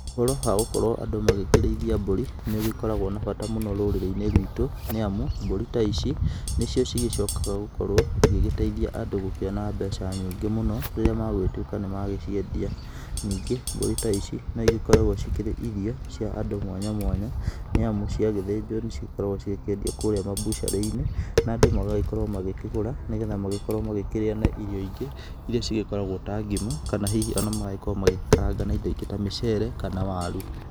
Ũhoro wa gũkorwo andũ magĩkĩrĩithia mbũri nĩ ũgĩkoragwo na bata mũno rũrĩrĩ-inĩ rwitũ, nĩ amu mburi ta ici, nĩ cio cigĩcokaga gũkorwo igĩgĩteithia andũ gũkĩona mbeca nyingĩ mũno rĩrĩa magũgĩtuĩka nĩ magĩciendia. Ningĩ mbũri ta ici no igĩkoragwo cikĩrĩ irio cia andũ mwanya mwanya, nĩ amu cia gĩthĩnjwo nĩ cigĩkoragwo cigĩkĩendio kũrĩa mabucarĩ-inĩ, na andũ magagĩkorwo magĩkĩgũra, nĩgetha magĩkorwo magĩkĩrĩa na irio ingĩ irĩa cigĩkoragwo ta ngima, kana hihi ona magagĩkorwo magĩkaranga na indo ingĩ ta mĩcere kana waru.